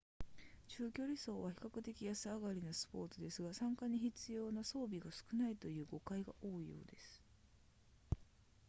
中距離走は比較的安上がりなスポーツですが参加に必要な装備が少ないという誤解が多いようです